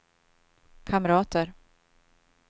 kamrater